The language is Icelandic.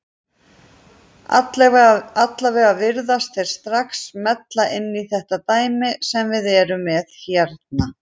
Allavega virðast þeir strax smella inn í þetta dæmi sem við erum með hérna.